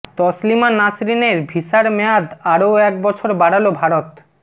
তসলিমা নাসরিনের ভিসার মেয়াদ আরও এক বছর বাড়াল ভারত